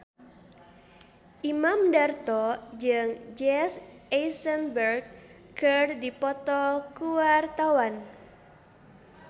Imam Darto jeung Jesse Eisenberg keur dipoto ku wartawan